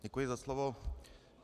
Děkuji za slovo.